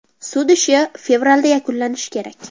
Sud ishi fevralda yakunlanishi kerak.